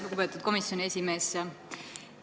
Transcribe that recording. Lugupeetud komisjoni esimees!